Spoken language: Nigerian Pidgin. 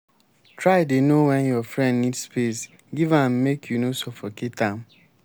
try dey know wen your friend need space give am make you no suffocate am.